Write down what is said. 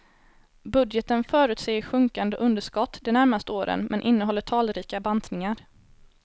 Budgeten förutsäger sjunkande underskott de närmaste åren men innehåller talrika bantningar.